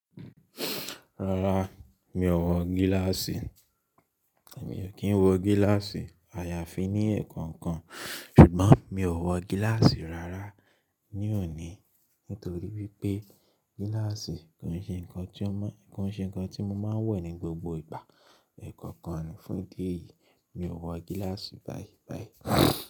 Rárá, mi ò wọ gíláàsì. Mi ò kí ń wọ gíláàsì àyàfi ní ẹ̀ẹ̀kọ̀kan, ṣùgbọ́n mi ò wọ gíláàsì rárá ní òní nítorí wípé gíláàsì kò ń ṣe ǹkan tí mo máa ń wọ̀ ní gbogbo ìgbà. Ẹ̀ẹ̀kọ̀kan ni fún ìdí èyí, mi ò wọ gíláàsì báyìí báyìí.